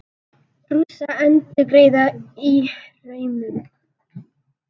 Rússar endurgreiða Írönum